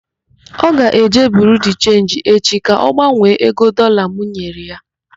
Ọ ga-eje Biriu de Chenji echi ka ọ gbanwee ego Dọlaa m nyere ya.